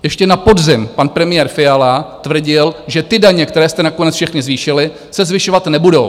Ještě na podzim pan premiér Fiala tvrdil, že ty daně, které jste nakonec všechny zvýšili, se zvyšovat nebudou.